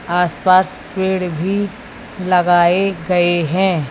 आस पास पेड़ भी लगाए गए हैं।